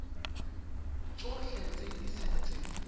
tsotlhe tse di setse di